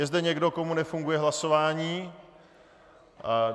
Je zde někdo, komu nefunguje hlasování?